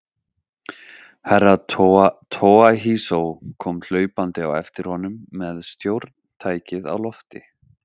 Herra Toahizo kom hlaupandi á eftir honum með stjórntækið á lofti.